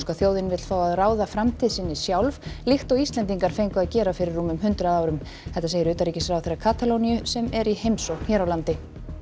þjóðin vill fá að ráða framtíð sinni sjálf líkt og Íslendingar fengu að gera fyrir rúmum hundrað árum þetta segir utanríkisráðherra Katalóníu sem er í heimsókn hér á landi